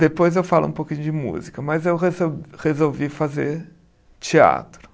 Depois eu falo um pouquinho de música, mas eu resol resolvi fazer teatro.